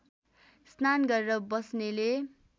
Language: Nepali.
स्नान गरेर बस्नेले